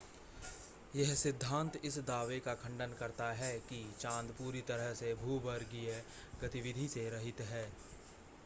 यह सिद्धांत इस दावे का खंडन करता है कि चांद पूरी तरह से भूगर्भीय गतिविधि से रहित है